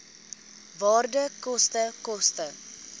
waarde koste koste